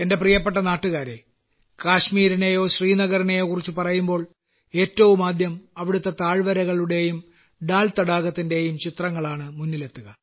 എന്റെ പ്രിയപ്പെട്ട നാട്ടുകാരേ കാശ്മീരിനെയോ ശ്രീനഗറിനെയോ കുറിച്ച് പറയുമ്പോൾ ഏറ്റവും ആദ്യം അവിടത്തെ താഴ്വരകളുടെയും ദാൽ തടാകത്തിന്റെയും ചിത്രങ്ങളാണ് മുന്നിലെത്തുക